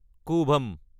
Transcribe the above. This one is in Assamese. কুভাম